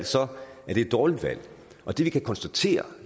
er det et dårligt valg og det vi kan konstatere